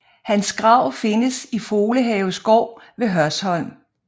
Hans grav findes i Folehave Skov ved Hørsholm